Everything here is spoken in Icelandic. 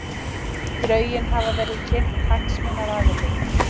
Drögin hafa verið kynnt hagsmunaaðilum